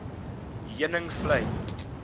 heuningvlei